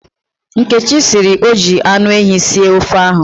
Nkechi sịrị na o ji anụehi sie ofe ahụ.